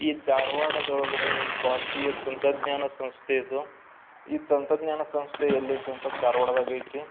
ಈ ದಾರವಾಡದ ಒಳಗಡೆ ಭಾರತೀಯ ತಂತ್ರಜ್ಞಾನ ಸಂಸ್ಥೆದು ಈ ತಾನಾತ್ರಜ್ಞನ ಸಂಸ್ಥೆ ಎಲ್ಲೈತೇ ಅಂತಂದ್ರ ಧಾರ್ವಾಡದಾಗಯ್ತಿ .